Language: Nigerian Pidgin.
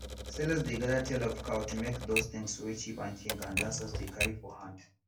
sellers dey gather tail of cow to make those tings wey chief and king and dancers dey carry for hand